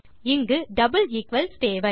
இங்கு double equals தேவை